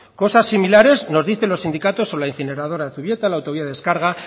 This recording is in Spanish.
cosas similares nos dicen los sindicatos sobre la incineradora de zubieta la autovía de descarga